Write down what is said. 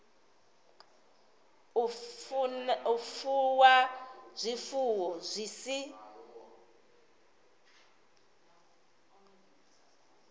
u fuwa zwifuwo zwi si